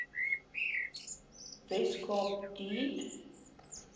wes kaap deur